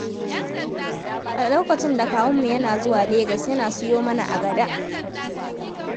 A lokacin da kawunmu yana zuwa Legas, yana siyo mana agada.